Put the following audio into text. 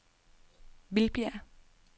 Vildbjerg